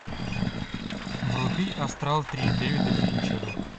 вруби астрал три дэвида финчера